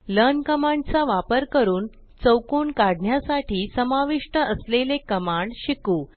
learn command चा वापर करून चौकोन काढण्यासाठी समाविष्ट असलेले कमांड शिकू